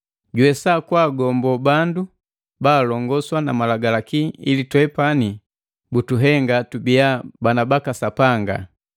juwesa kwaagombo bandu baalongoswa na Malagalaki ili twepani butuhenga tubiya bana baka Sapanga.